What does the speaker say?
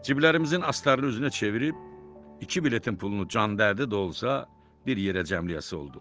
Cİblərimizin astarını üzünə çevirib, iki biletin pulunu can dərdi də olsa, bir yerə cəmləyəsi olduq.